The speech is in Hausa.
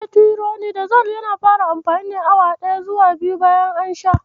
Metironidazol yana fara amfani awa ɗaya zuwa biyu bayan an sha shi.